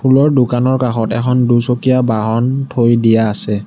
ফুলৰ দোকানৰ কাষত এখন দুচকীয়া বাহন থৈ দিয়া আছে।